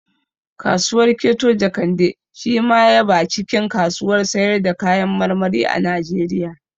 Kasuwar keto Jekande shi ma ya ba cikin kasuwar sayar da kayan marmari a Najeriya